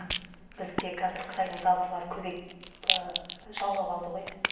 бізде қазір қытайдың тауарлары көбейіп жаулап алды ғой